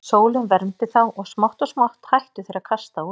Sólin vermdi þá og smátt og smátt hættu þeir að kasta út í.